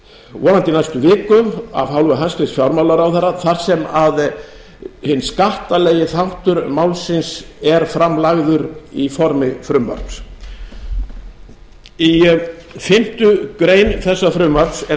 vonandi í næstu viku af hálfu hæstvirts fjármálaráðherra þar sem að hinn skattalegi þáttur málsins er fram lagður í formi frumvarps í fimmtu grein þessa frumvarps er